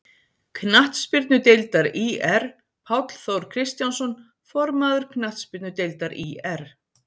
Knattspyrnudeildar ÍR Páll Þór Kristjánsson, formaður Knattspyrnudeildar ÍR